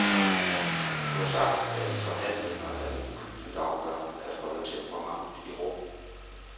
Du har sagt, at i forhandlinger er det uhyggeligt afgørende at holde temperamentet i ro.